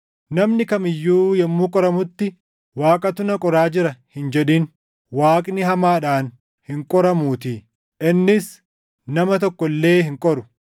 Namni kam iyyuu yommuu qoramutti, “Waaqatu na qoraa jira” hin jedhin. Waaqni hamaadhaan hin qoramuutii; innis nama tokko illee hin qoru;